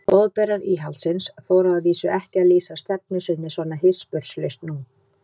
Boðberar íhaldsins þora að vísu ekki að lýsa stefnu sinni svona hispurslaust nú.